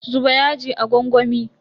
Zuba yajin a gwangwami.